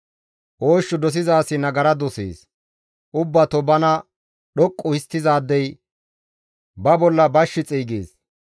Oosh dosiza asi nagara dosees; ubbato bana dhoqqu histtizaadey ba bolla bash xeygees.